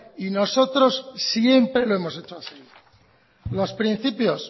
y nosotros siempre lo hemos hecho así los principios